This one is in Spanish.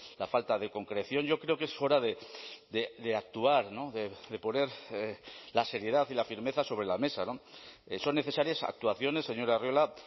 la falta de concreción yo creo que es hora de actuar de poner la seriedad y la firmeza sobre la mesa son necesarias actuaciones señor arriola